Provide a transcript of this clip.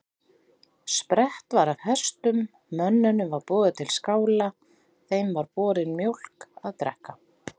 Sprett var af hestum, mönnunum var boðið til skála, þeim var borin mjólk að drekka.